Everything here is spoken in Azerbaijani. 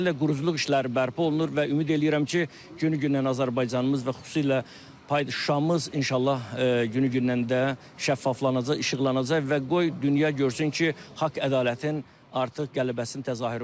Ümumiyyətlə, quruculuq işləri bərpa olunur və ümid eləyirəm ki, günü-gündən Azərbaycanımız və xüsusilə Şuşamız inşallah günü-gündən də şəffaflaşacaq, işıqlanacaq və qoy dünya görsün ki, haqq ədalətin artıq qələbəsinin təzahürü budur.